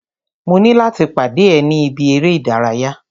Mo ní láti pàdé ẹ̀ ni ibi eré ìdárayá.